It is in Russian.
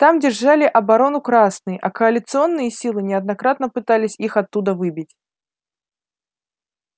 там держали оборону красные а коалиционные силы неоднократно пытались их оттуда выбить